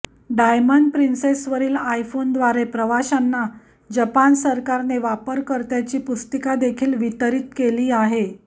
diamond प्रिन्सेसवरील आयफोनद्वारे प्रवाशांना जपान सरकारने वापरकर्त्याची पुस्तिकादेखील वितरित केली आहे